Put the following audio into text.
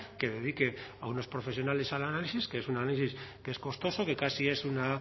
que dedique a unos profesionales al análisis que es un análisis que es costoso que casi es una